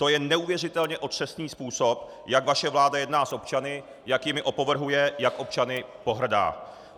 To je neuvěřitelně otřesný způsob, jak vaše vláda jedná s občany, jak jimi opovrhuje, jak občany pohrdá!